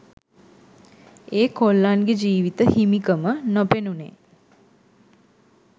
ඒ කොල්ලන්ගෙ ජීව්ත හිමිකම නොපෙනුනේ.